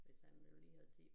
Hvis han nu lige havde tid